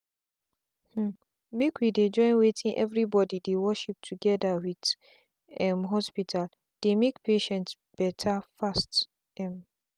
um make we dey join wetin everybody dey worship together with um hospital dey make patient better fast. um